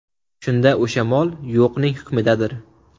Shunda o‘sha mol yo‘qning hukmidadir.